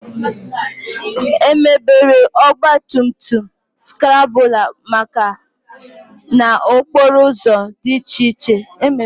Emebere Ọgba tum tum skrambụla maka n'okporo ụzọ dị iche iche